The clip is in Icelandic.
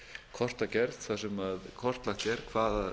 kortagerð þar sem kortlagt er hvaða